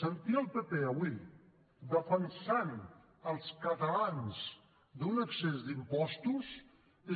sentir el pp avui defensant els catalans d’un excés d’impostos